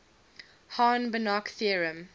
hahn banach theorem